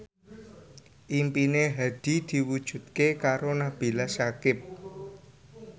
impine Hadi diwujudke karo Nabila Syakieb